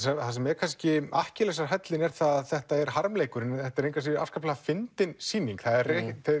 það sem er kannski Akkilesarhællinn er það að þetta er harmleikur en þetta er engu að síður afskaplega fyndin sýning það er